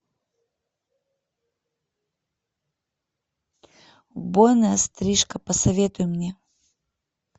убойная стрижка посоветуй мне